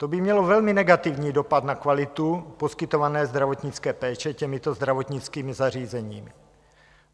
To by mělo velmi negativní dopad na kvalitu poskytované zdravotnické péče těmito zdravotnickými zařízeními.